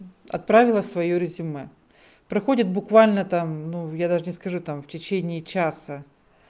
отправила своё резюме проходит буквально там ну я даже не скажу там в течение часа